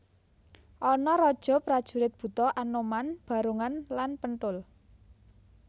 Ana raja prajurit buta anoman barongan lan penthul